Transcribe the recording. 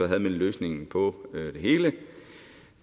havde man løsningen på det hele